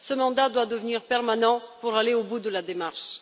Ce mandat doit devenir permanent pour aller au bout de la démarche.